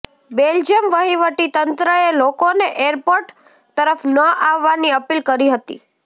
Belgium વહીવટી તંત્રએ લોકોને એરપોર્ટ તરફ ન આવવાની અપીલ કરી હતી